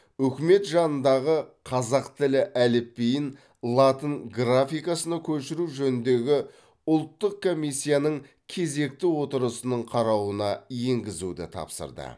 үкімет жанындағы қазақ тілі әліпбиін латын графикасына көшіру жөніндегі ұлттық комиссияның кезекті отырысының қарауына енгізуді тапсырды